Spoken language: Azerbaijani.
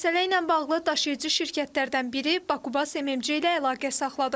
Məsələ ilə bağlı daşıyıcı şirkətlərdən biri Bakubas MMC ilə əlaqə saxladıq.